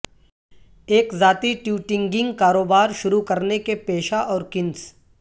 ایک ذاتی ٹیوٹنگنگ کاروبار شروع کرنے کے پیشہ اور کنس